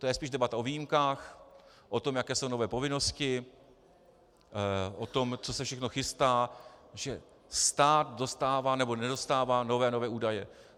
To je spíše debata o výjimkách, o tom, jaké jsou nové povinnosti, o tom, co se všechno chystá, že stát dostává nebo nedostává nové a nové údaje.